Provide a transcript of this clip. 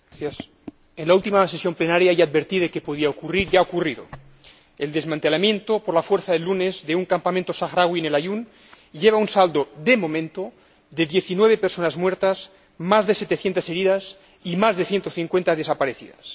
Señor Presidente, en la última sesión plenaria ya advertí de que podía ocurrir, y ha ocurrido el desmantelamiento por la fuerza el lunes de un campamento saharaui en El Aaiún lleva un saldo, de momento, de 19 personas muertas, más de 700 heridas y más de 150 desaparecidas.